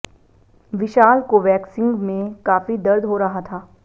विशाल को वैक्सिंग में काफी दर्द हो रहा था